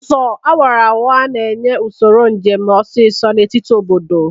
Ụzọ awara awara na-enye usoro njem ọsọ ọsọ n'etiti obodo.